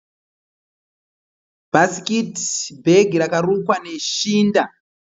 Bhasikiti bhegi rakarukwa neshinda.